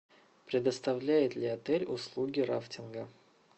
предоставляет ли отель услуги рафтинга